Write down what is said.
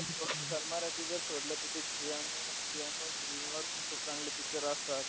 पण सन मराठी जर सोडलं तर ते झी आणि screen वर पण चांगले pictures असतात.